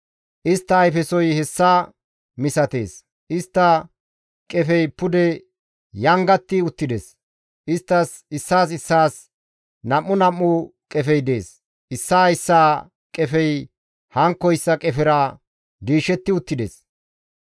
Istta ayfesoy hessa misatees; istta qefey pude yangetti uttides; isttas issaas issaas nam7u nam7u qefey dees; issaa issaa qefey hankkoyssa qefera diishetti uttides.